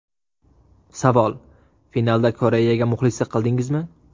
Savol: Finalda Koreyaga muxlislik qildingizmi?